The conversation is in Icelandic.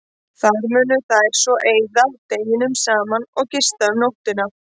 Þar munu þær svo eyða deginum saman og gista um nóttina.